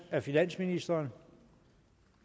af finansministeren